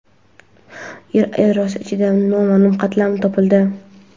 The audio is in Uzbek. Yer yadrosi ichida noma’lum qatlam topildi.